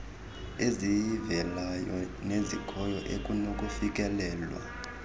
eziziveleleyo nezikhoyo ekunokufikelelwa